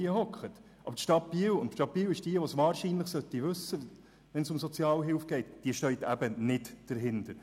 Die Stadt Biel ist die Stadt, die es wahrscheinlich wissen sollte, wenn es um die Sozialhilfe geht, und sie steht nicht dahinter.